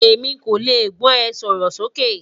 Emi ko le gbọ e, sọrọ soke